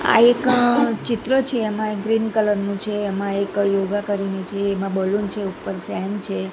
આ એક ચિત્ર છે એમાં એક ગ્રીન કલર નું છે એમાં એક યોગા કરીને છે એમાં બલૂન છે ઉપર ફેન છે.